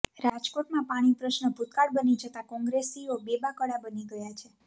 રાજકોટમાં પાણી પ્રશ્ન ભૂતકાળ બની જતા કોંગ્રેસીઓ બેબાકળા બની ગયા છે